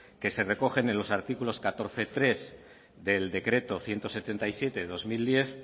que se recogen en los artículos catorce punto tres del decreto ciento setenta y siete barra dos mil diez